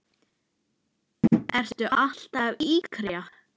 Ertu alltaf að yrkja?